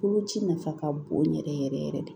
Koloci nafa ka bon yɛrɛ yɛrɛ yɛrɛ de